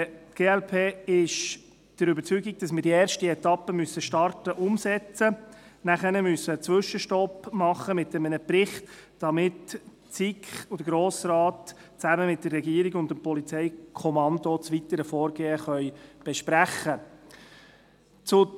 Die glp ist der Überzeugung, dass wir die erste Etappe starten, umsetzen müssen, nachher einen Zwischenstopp einlegen müssen mit einem Bericht, damit die SiK und der Grosse Rat, zusammen mit der Regierung und dem Polizeikommando, das weitere Vorgehen besprechen können.